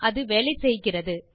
அது வேலை செய்கிறது